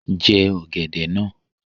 Jẹ ọ̀gẹ̀dẹ̀ náà!